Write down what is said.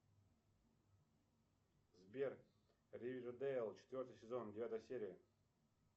сбер ривердейл четвертый сезон девятая серия